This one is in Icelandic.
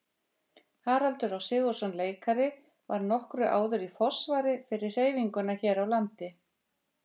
Haraldur Á. Sigurðsson leikari var nokkru áður í forsvari fyrir hreyfinguna hér á landi.